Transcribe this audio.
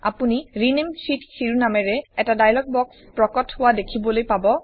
আপুনি ৰেনামে শীত শিৰোনামেৰে এটা ডায়লগ বক্স প্ৰকট হোৱা দেখিবলৈ পাব